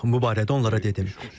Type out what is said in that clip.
Bu barədə onlara dedim.